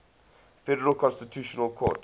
federal constitutional court